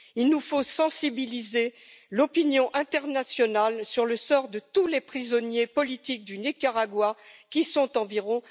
Nous devons sensibiliser l'opinion internationale au sort de tous les prisonniers politiques du Nicaragua, qui sont environ